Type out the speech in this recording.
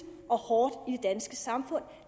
og hårdt i danske samfund